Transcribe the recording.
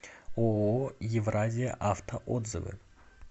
ооо евразия авто отзывы